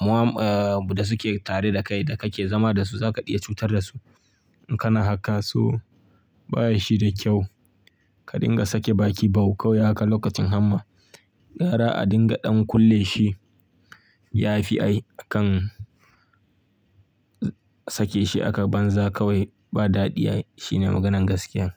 muwa, eh, da suke tare da kai da ka ke zama da su za ka iya cutar da su in kana haka. Toh baya shi da kyau. Ka dinga sake baki bau kawai haka lokacin hama. Gara a dinga ɗan kulle shi, yafi ai akan tsake shi aka banza kawai ba daɗiya ai. Shine maganan gaskiyan.